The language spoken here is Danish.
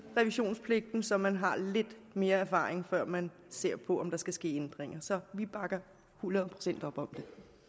revisionspligten så man har lidt mere erfaring før man ser på om der skal ske ændringer så vi bakker hundrede procent op om